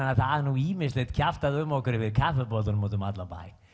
það er ýmislegt kjaftað um okkur yfir kaffibollum út um allan bæ